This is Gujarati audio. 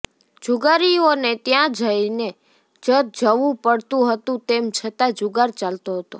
જુગારીઓને ત્યાં થઈને જ જવું પડતું હતું તેમ છતાં જુગાર ચાલતો હતો